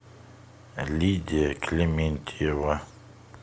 лидия клементьева